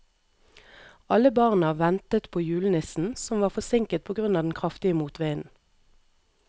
Alle barna ventet på julenissen, som var forsinket på grunn av den kraftige motvinden.